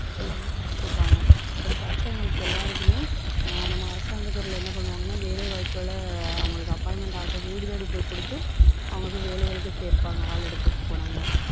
எல்லாமே படிச்சிருப்பாங்க. அப்படி படிச்சவங்களுக்கு எல்லாருக்குமே அஹ் நம்ம அரசாங்க துறையில என்ன பண்ணுவாங்கன்னா வேலை வாய்ப்புகளை அவங்களுக்கு appointment order அ வீடு தேடி போய் கொடுத்து அவங்களுக்கு வேலைகளுக்கு சேர்ப்பாங்க. ஆளு எடுத்துட்டு போனாங்க.